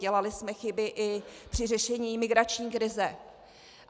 Dělali jsme chyby i při řešení migrační krize.